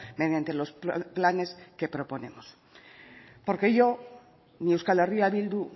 mediante los planes que proponemos porque ello ni euskal herria bildu